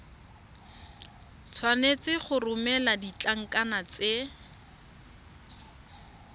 tshwanetse go romela ditlankana tse